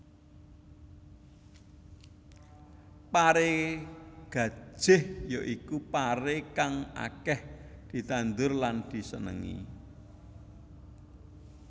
Paré gajih ya iku paré kang akèh ditandhur lan disenéngi